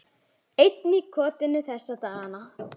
Einn í kotinu þessa dagana.